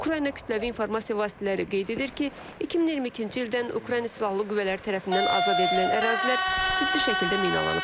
Ukrayna kütləvi informasiya vasitələri qeyd edir ki, 2022-ci ildən Ukrayna silahlı qüvvələri tərəfindən azad edilən ərazilər ciddi şəkildə minalanıb.